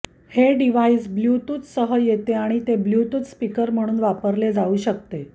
हे डिव्हाइस ब्लूटूथसह येते आणि ते ब्लूटूथ स्पीकर म्हणून वापरले जाऊ शकते